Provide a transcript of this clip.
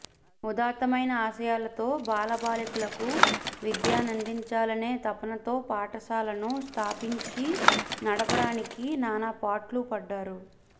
ఉదాత్తమైన ఆశయాలతో బాలబాలికలకు విద్యనందించాలనే తపనతో పాఠశాలను స్థాపించి నడపడానికి నానాపాట్లు పడ్డాడు